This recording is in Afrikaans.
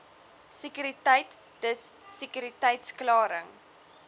sekuriteit dis sekuriteitsklaring